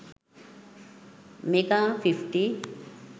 mega 50